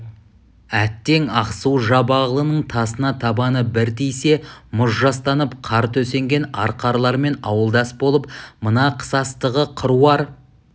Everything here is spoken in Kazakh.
әттең ақсу-жабағылының тасына табаны бір тисе мұз жастанып қар төсенген арқарлармен ауылдас болып мына қысастығы қыруар